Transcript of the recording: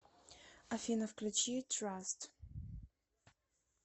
афина включи траст